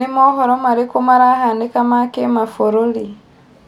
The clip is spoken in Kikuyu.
ni mohoro marĩko marahanika ma kĩmafũrũri